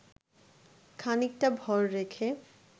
খানিকটা ভর রেখে